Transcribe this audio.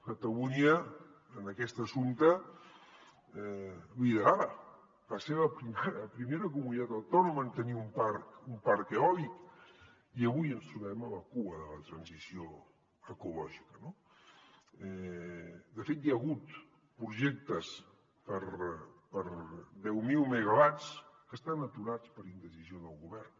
catalunya en aquest assumpte liderava va ser la seva primera comunitat autònoma en tenir un parc eòlic i avui ens trobem a la cua de la transició ecològica no de fet hi ha hagut projectes per a deu mil megawatts que estan aturats per indecisió del govern